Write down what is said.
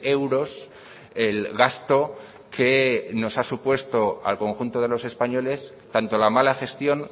euros el gasto que nos ha supuesto al conjunto de los españoles tanto la mala gestión